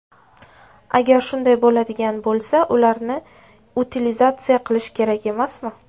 Agar shunday bo‘ladigan bo‘lsa ularni utilizatsiya qilish kerak emasmi?